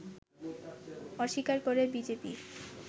অস্বীকার করে বিজেপি